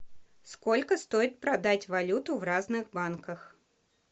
сколько стоит продать валюту в разных банках